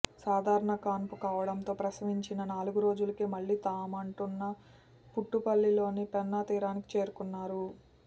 సాధారణ కాన్పు కావడంతో ప్రసవించిన నాలుగు రోజులకే మళ్లీ తాముంటున్న పుట్టుపల్లిలోని పెన్నాతీరానికి చేరుకున్నారు